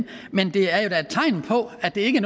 men det er jo da tegn på at det ikke